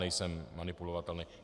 Nejsem manipulovatelný.